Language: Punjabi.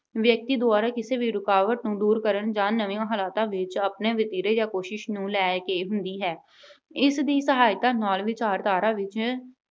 ਵਿਅਕਤੀ ਦੁਆਰਾ ਕਿਸੇ ਵੀ ਰੁਕਾਵਟ ਨੂੰ ਦੂਰ ਕਰਨ ਜਾਂ ਨਵੇਂ ਹਾਲਾਤਾਂ ਵਿੱਚ ਆਪਣੇ ਵਤੀਰੇ ਜਾਂ ਕੋਸ਼ਿਸ਼ ਨੂੰ ਲੈ ਕੇ ਹੁੰਦੀ ਹੈ। ਇਸ ਦੀ ਸਹਾਇਤਾ ਨਾਲ ਵਿਚਾਰਧਾਰਾ ਵਿੱਚ